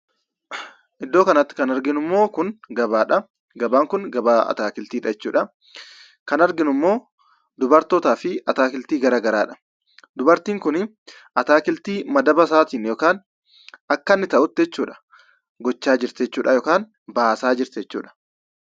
Iddoo kanatti, kan arginummo kun, gabaadha. Gabaan kun, gabaa ataakiltiidha. kan arginummo dubartootaafi ataakiltii garagaraadha. dubartiin kuni, atakiltii madaaba isaatiin yookiin, akkanni ta'utti gocha jirti. yookaan baasa jirti jechudha.